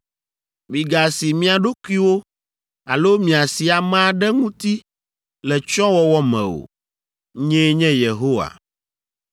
“ ‘Migasi mia ɖokuiwo alo miasi ame aɖe ŋuti le tsyɔ̃wɔwɔ me o. Nyee nye Yehowa.